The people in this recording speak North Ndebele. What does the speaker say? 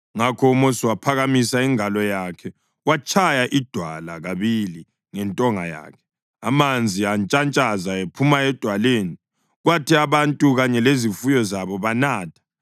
Ngakho uMosi waphakamisa ingalo yakhe watshaya idwala kabili ngentonga yakhe. Amanzi antshantshaza ephuma edwaleni, Kwathi abantu kanye lezifuyo zabo banatha.